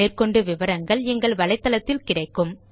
மேற்கொண்டு விவரங்கள் எங்கள் வலைத்தளத்தில் கிடைக்கும்